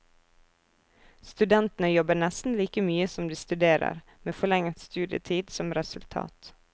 Studentene jobber nesten like mye som de studerer, med forlenget studietid som resultat.